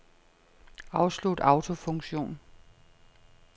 Afslut autofunktion.